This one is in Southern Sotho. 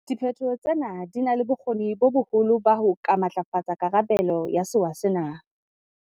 Diphetho tsena di na le bokgoni bo boholo ba ho ka matlafatsa karabelo ya sewa sena.